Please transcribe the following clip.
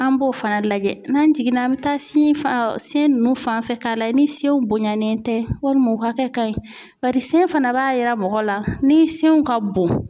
An b'o fana lajɛ n'an jiginna an bɛ taa sin nunnu fanfɛ k'a lajɛ ni senw bonyanen tɛ walima hakɛ ka ɲi bari sen fana b'a yira mɔgɔ la ni senw ka bon.